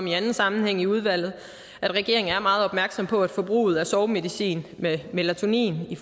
i anden sammenhæng i udvalget at regeringen er meget opmærksom på at forbruget af sovemedicin med melatonin